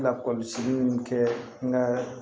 Lakɔlɔsili in kɛ n ka